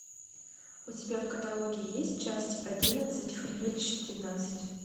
у тебя в каталоге есть часть одиннадцать хранилище тринадцать